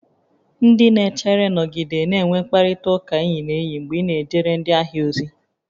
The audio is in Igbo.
Ndị na-echere, nọgide na-enwe mkparịta ụka enyi na enyi mgbe ị na-ejere ndị ahịa ozi